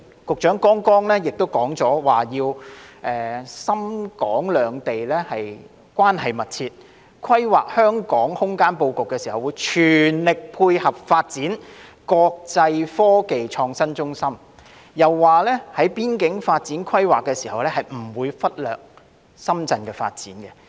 局長剛才亦提到要讓深港兩地關係更趨密切，規劃香港空間布局時會全力配合，支持港深合作建設國際科技創新中心，又說在規劃邊境發展時不會忽略深圳的發展。